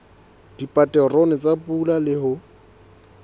dipaterone tsa pula le ho